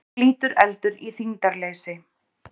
Flýtur eldur í þyngdarleysi?